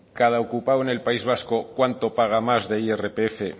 cada ocupado en el país vasco cuánto paga más de irpf